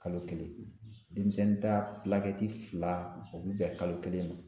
Kalo kelen denmisɛnnin ta fila o bɛ bɛn kalo kelen ma